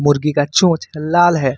मुर्गी का चोच लाल है।